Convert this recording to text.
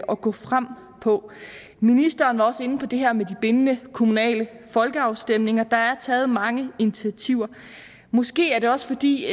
at gå frem på ministeren var også inde på det her med de bindende kommunale folkeafstemninger og der er taget mange initiativer måske er det også fordi